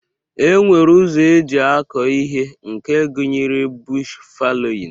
E nwere ụzọ eji akọ ihe nke gụnyere bush falowin